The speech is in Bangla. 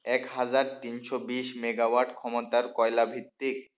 এক হাজার তিনশো বিশ মেগাওয়াট ক্ষমতার কয়লা ভিত্তিক,